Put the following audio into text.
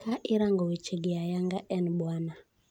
Ka irango wechegi ayanga en Bwana.